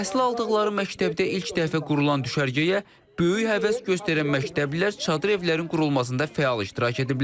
Təhsil aldıqları məktəbdə ilk dəfə qurulan düşərgəyə böyük həvəs göstərən məktəblilər çadır evlərin qurulmasında fəal iştirak ediblər.